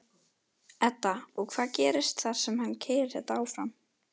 Edda: Og hvað gerist þar sem að keyrir þetta áfram?